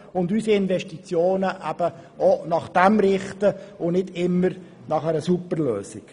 Wir sollten unsere Investitionen daran ausrichten, anstatt an einer Super-Lösung.